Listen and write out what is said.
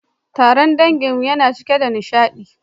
Taron danginmu ya cika da nishadi